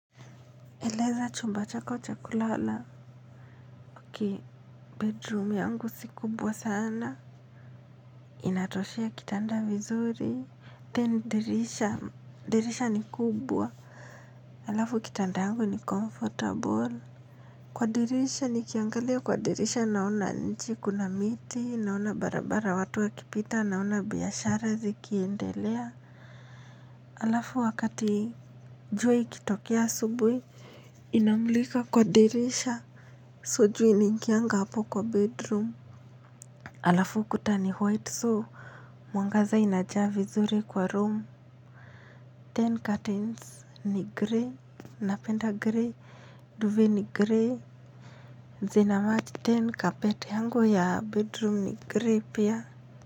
Eleza chumba chako chakulala ki bedroom yangu sikubwa sana. Inatoshea kitanda vizuri. Ten dirisha. Dirisha ni kubwa. Alafu kitanda yangu ni comfortable. Kwa dirisha nikiangalia kwa dirisha naona nchi kuna miti. Naona barabara watu wa kipita naona biashara ziki endelea. Alafu wakati jua ikitokea asubuhi inamulika kwa dirisha. So jua inaingianga hapo kwa bedroom. Alafu kuta ni white so mwangaza inajaa vizuri kwa room. Ten curtains ni grey. Napenda grey. Duve ni grey. Zina match then carpet yangu ya bedroom ni grey pia.